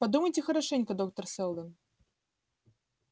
подумайте хорошенько доктор сэлдон